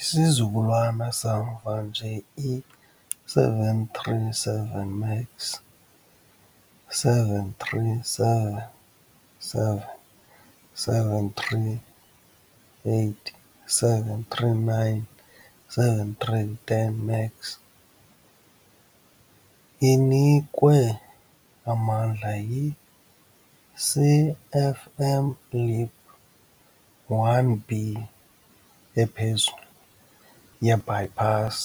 Isizukulwana samva nje, i- 737 MAX, 737-7-738-739-7310 MAX, inikwe amandla yi- CFM LEAP -1B ephezulu ye-bypass